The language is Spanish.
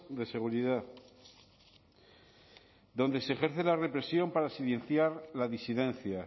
de seguridad donde se ejerce la represión para silenciar la disidencia